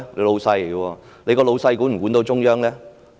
他的老闆管得到中央嗎？